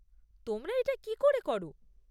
তোমরা এটা কী করে কর?